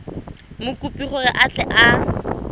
mokopi gore a tle a